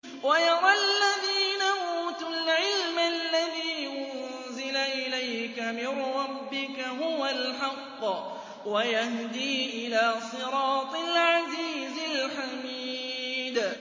وَيَرَى الَّذِينَ أُوتُوا الْعِلْمَ الَّذِي أُنزِلَ إِلَيْكَ مِن رَّبِّكَ هُوَ الْحَقَّ وَيَهْدِي إِلَىٰ صِرَاطِ الْعَزِيزِ الْحَمِيدِ